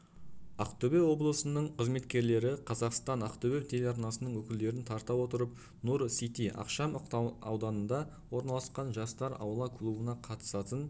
ақтөбе облысының қызметкерлері қазақстан-ақтөбе телеарнасының өкілдерін тарта отырып нұр-сити ықшам ауданында орналасқан жастар аула клубына қатысатын